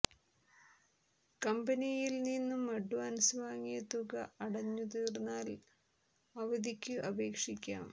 കമ്പനിയിൽ നിന്നും അഡ്വാൻസ് വാങ്ങിയ തുക അടഞ്ഞു തീർന്നാൽ അവധിക്കു അപേക്ഷിക്കാം